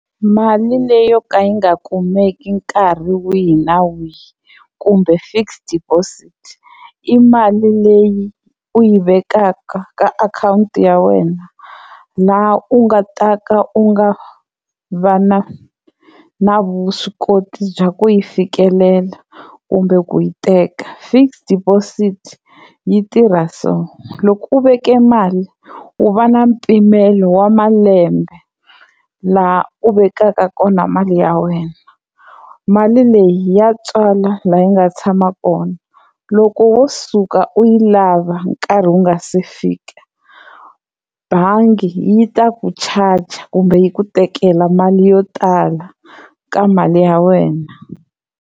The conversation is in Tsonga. Mali leyi yo ka yi nga kumeki nkarhi wihi na wihi kumbe fixed deposit, i mali leyi u yi vekaka ka akhawunti ya wena laha u nga ta ka u nga va na na vuswikoti bya ku yi fikelela kumbe ku yi teka. Fixed deposit yi tirha so loko u veke mali u va na mpimelo wa malembe laha u vekaka kona mali ya wena, mali leyi ya tswala laha yi nga tshama kona loko wo suka u yi lava nkarhi wu nga se fika bangi yi ta ku charger kumbe yi ku tekela mali yo tala ka mali ya wena.